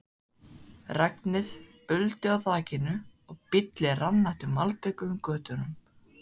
Regnið buldi á þakinu og bíllinn rann eftir malbikuðum götunum.